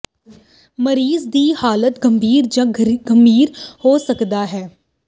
ਮਰੀਜ਼ ਦੀ ਹਾਲਤ ਗੰਭੀਰ ਜ ਗੰਭੀਰ ਹੋ ਸਕਦਾ ਹੈ